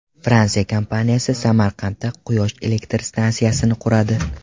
Fransiya kompaniyasi Samarqandda quyosh elektr stansiyasini quradi.